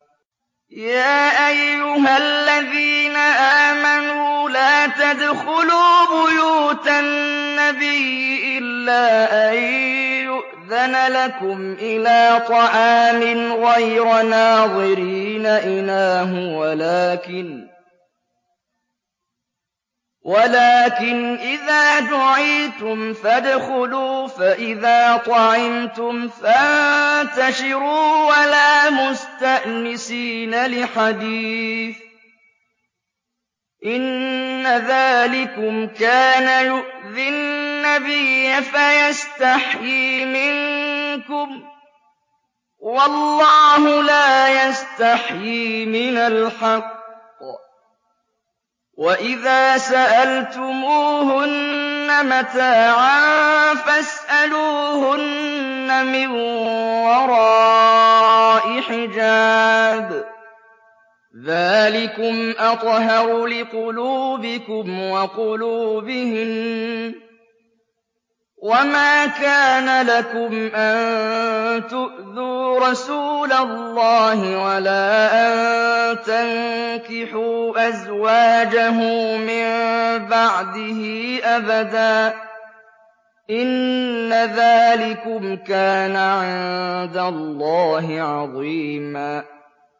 يَا أَيُّهَا الَّذِينَ آمَنُوا لَا تَدْخُلُوا بُيُوتَ النَّبِيِّ إِلَّا أَن يُؤْذَنَ لَكُمْ إِلَىٰ طَعَامٍ غَيْرَ نَاظِرِينَ إِنَاهُ وَلَٰكِنْ إِذَا دُعِيتُمْ فَادْخُلُوا فَإِذَا طَعِمْتُمْ فَانتَشِرُوا وَلَا مُسْتَأْنِسِينَ لِحَدِيثٍ ۚ إِنَّ ذَٰلِكُمْ كَانَ يُؤْذِي النَّبِيَّ فَيَسْتَحْيِي مِنكُمْ ۖ وَاللَّهُ لَا يَسْتَحْيِي مِنَ الْحَقِّ ۚ وَإِذَا سَأَلْتُمُوهُنَّ مَتَاعًا فَاسْأَلُوهُنَّ مِن وَرَاءِ حِجَابٍ ۚ ذَٰلِكُمْ أَطْهَرُ لِقُلُوبِكُمْ وَقُلُوبِهِنَّ ۚ وَمَا كَانَ لَكُمْ أَن تُؤْذُوا رَسُولَ اللَّهِ وَلَا أَن تَنكِحُوا أَزْوَاجَهُ مِن بَعْدِهِ أَبَدًا ۚ إِنَّ ذَٰلِكُمْ كَانَ عِندَ اللَّهِ عَظِيمًا